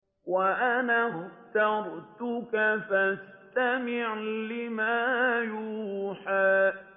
وَأَنَا اخْتَرْتُكَ فَاسْتَمِعْ لِمَا يُوحَىٰ